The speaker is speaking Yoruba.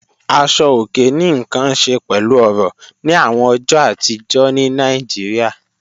Àṣọ̀ ọ̀kè ní nkàn ṣẹ̀ pẹ̀lú ọ̀rọ̀ ni awọn ọjọ́ àtìjọ̀ ní Naijíríà.